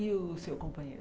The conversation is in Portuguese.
E o seu companheiro?